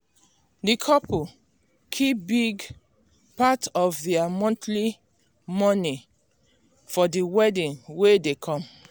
the couple keep big part of their monthly moni for the wedding wey dey come.